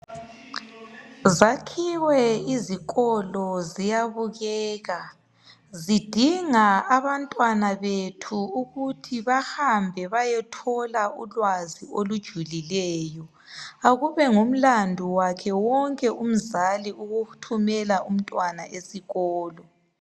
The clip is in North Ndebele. Zakhiwe izikolo ziyabukeka zidinga abantwana bethu ukuthi bahambe bayothola ulwazi olujulileyo akube ngumlandu wakhe wonke umzali ukuthumela umntwana esikolo